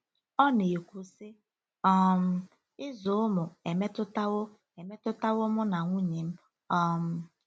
Ọ na-ekwu, sị: um “ Ịzụ ụmụ emetụtawo emetụtawo mụ na nwunye m um.